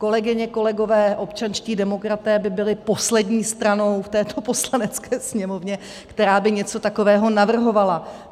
Kolegyně, kolegové, občanští demokraté by byli poslední stranou v této Poslanecké sněmovně, která by něco takového navrhovala.